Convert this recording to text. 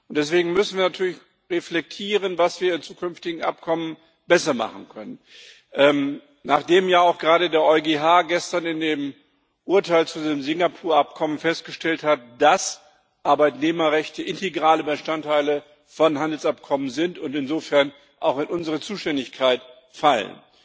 Deswegen müssen wir natürlich reflektieren, was wir bei zukünftigen Abkommen besser machen können, nachdem ja auch gerade der EuGH gestern in dem Urteil zu dem Singapur Abkommen festgestellt hat, dass Arbeitnehmerrechte integraler Bestandteil von Handelsabkommen sind und insofern auch in unsere Zuständigkeit fallen.